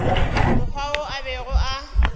mokgwa wo a bego a